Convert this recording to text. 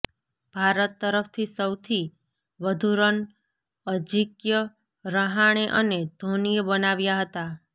ભારત તરફથી સૌથી વધુ રન અજિંક્ય રહાણે અને ધોનીએ બનાવ્યા હતા